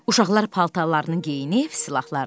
Uşaqlar paltarlarını geyinib silahlandı.